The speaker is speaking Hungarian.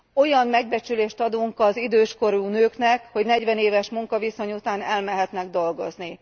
Olyan megbecsülést adunk az idős korú nőknek, hogy negyven éves munkaviszony után elmehetnek dolgozni.